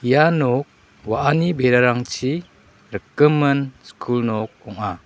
ia nok wa·ani berarangchi rikgimin skul nok ong·a.